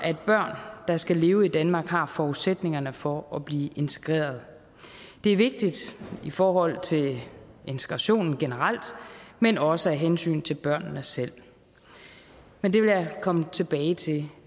at børn der skal leve i danmark har forudsætningerne for at blive integreret det er vigtigt i forhold til integrationen generelt men også af hensyn til børnene selv men det vil jeg komme tilbage til